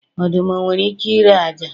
Ọdụm o nwere ike ịre ájá?